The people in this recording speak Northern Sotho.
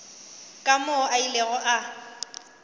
ka moo a ilego a